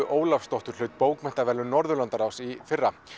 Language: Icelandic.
Ólafsdóttur hlaut bókmenntaverðlaun Norðurlandaráðs í fyrra